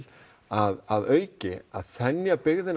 að auki að þenja byggðina